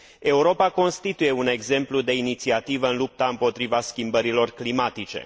Europa constituie un exemplu de inițiativă în lupta împotriva schimbărilor climatice.